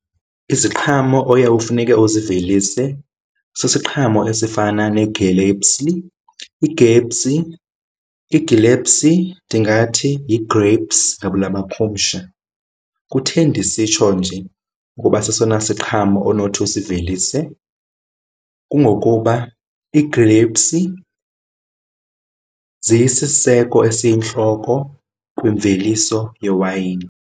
Iziqhamo oye ufuneke uzivelise sisiqhamo esifana negelepsi. Igepsi, igelepsi ndingathi yi-grapes ngabula makhumsha. Kutheni ndisitsho nje ngoba sesona siqhamo onothi usivelise? Kungokuba i-grapes ziyisiseko esiyintloko kwimveliso yewayini.